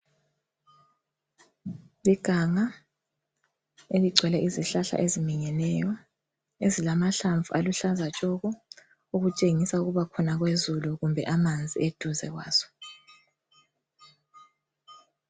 Iganga eligcwele izihlahla eziminyeneyo ezilamahlamvu aluhlaza tshoko okutshengisa ukuba khona kwezulu kumbe amanzi eduze kwazo.